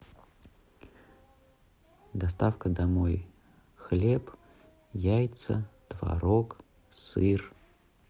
доставка домой хлеб яйца творог сыр